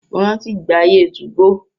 Mo rántí ìgbà ayé 2go.